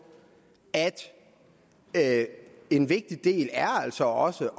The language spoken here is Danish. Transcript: at en vigtig del altså også